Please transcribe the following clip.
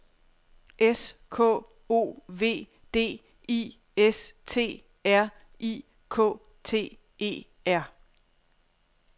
S K O V D I S T R I K T E R